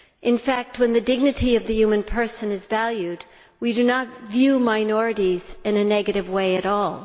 In fact, when the dignity of the human person is valued, we do not view minorities in a negative way at all.